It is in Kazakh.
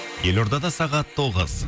елордада сағат тоғыз